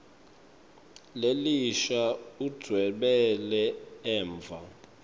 lelisha udvwebele emva